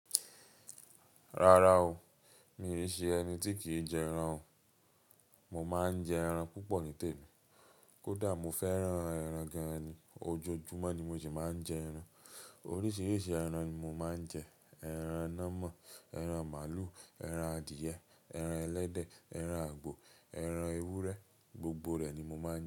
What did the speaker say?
Rárá o, mi í ṣe ẹni tí kì í jẹ ẹran o. Mo máa ń jẹ ẹran púpọ̀ ní tẹ̀mi. Kódà mo fẹ́ràn ẹran gan ni ojojúmọ́ ni mo sì máa ń jẹ ẹran. Oríṣiríṣi ẹran ni mo máa ń jẹ. Ẹran namọ̀, ẹran màlúù, ẹran adìẹ, ẹran ẹlẹ́dẹ̀, ẹran àgbò, ẹran ewúrẹ́, gbogbo rẹ̀ ni mo máa ń jẹ.